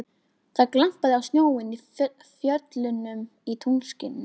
Það glampaði á snjóinn í fjöllunum í tunglskininu.